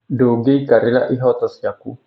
Ndũngĩikarĩra ihooto ciaku.